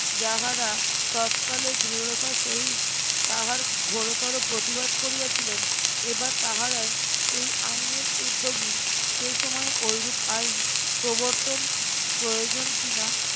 যাহারা তৎকালে দৃঢ়তা সহিত তাহার ঘোরতর প্রতিবাদ করিয়াছিলেন এবার তাহারাই এই আইনের উদ্যোগী সেই সময়ে ওইরূপ আইন প্রবর্তন প্রয়োজন কিনা